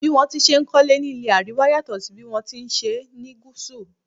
Bí wón ti n ṣe kólé ní ilé Àríwá yàtò sí bí wọn tí ṣe ni Gúsù.